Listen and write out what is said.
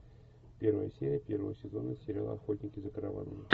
первая серия первого сезона сериала охотники за караванами